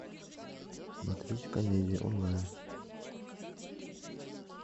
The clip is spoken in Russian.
смотреть комедию онлайн